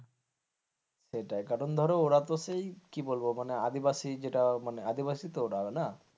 সেটা কারণ ধরো ওরা তো সেই কি বলবো? মানে আদিবাসী যেটা মানে আদিবাসী তো ওরা না?